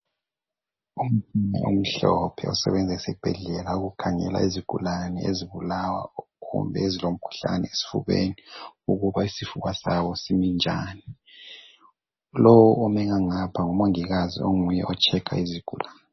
Umtshina omhlophe osebenza ezibhedlela ukukhangela izigulane ezibulawa kumbe ezilomkhuhlane esifubeni, ukuba isifuba sawo simi njani. Lowu ome ngapha ngumongikazi onguye otshekha izigulani.